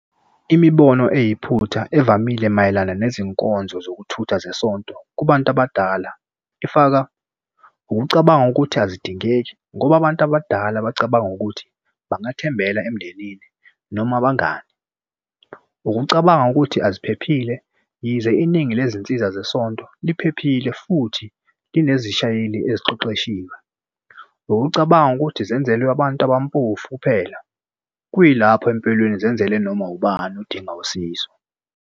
Imibono eyiphutha evamile mayelana nezinkonzo zokuthutha zesonto kubantu abadala ifaka ukucabanga ukuthi azidingeki ngoba abantu abadala bacabanga ukuthi bangathembela emndenini noma abangani. Ukucabanga ukuthi aziphephile yize iningi lezinsiza zesonto liphephile futhi linezishayeli eziqeqeshiwe. Ukucabanga ukuthi zenzelwe abantu abampofu phela kuyilapho empilweni zenzele noma ubani odinga usizo.